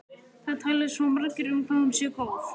Það tali svo margir um hvað hún sé góð.